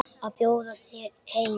Að bjóða þér heim.